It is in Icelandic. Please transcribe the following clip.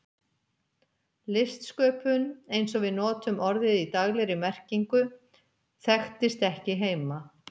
Listsköpun, eins og við notum orðið í daglegri merkingu, þekktist ekki heima.